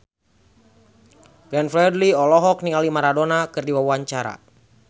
Glenn Fredly olohok ningali Maradona keur diwawancara